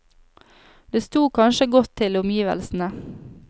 Det sto kanskje godt til omgivelsene.